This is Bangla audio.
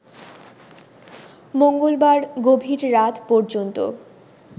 মঙ্গলবার গভীর রাত পর্যন্ত